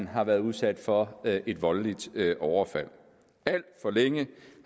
har været udsat for et voldeligt overfald alt for længe